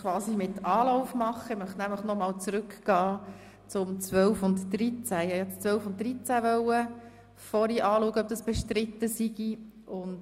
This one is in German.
Es ist nicht so, dass bis jetzt keine Hausordnungen existieren würden.